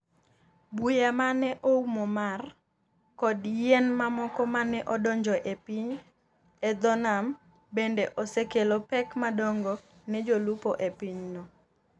buya ma ne oumo mar , kod yien mamoko ma ne odonjo e pi, e dho nam, bende osekelo pek madongo ne jolupo e pinyno.